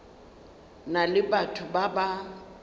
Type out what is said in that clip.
na le batho ba ba